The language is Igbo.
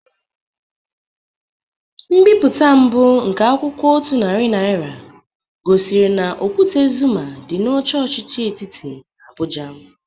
Mbipụte mbụ nke akwụkwọ otu narị naịra gosiri na okwute Zuma dị na oche ọchịchị etiti n'Abụja.